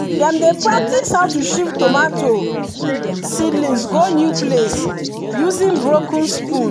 dem dey practise how to shift tomato seedlings go new place using broken spoon.